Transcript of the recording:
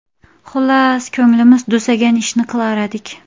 Xullas, ko‘nglimiz tusagan ishni qilardik.